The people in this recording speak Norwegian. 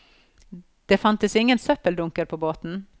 Det fantes ingen søppeldunker på båten.